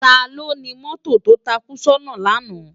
Táló ni mòtó tó tákú sòná làná?